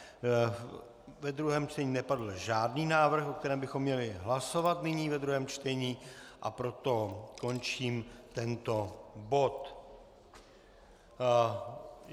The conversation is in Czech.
Ve druhém čtení nepadl žádný návrh, o kterém bychom měli hlasovat nyní ve druhém čtení, a proto končím tento bod.